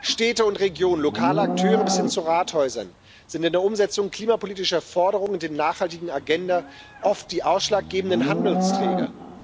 Städte und Regionen, lokale Akteure bis hin zu Rathäusern sind in der Umsetzung klimapolitischer Forderungen und der nachhaltigen Agenda oft die ausschlaggebenden Handlungsträger.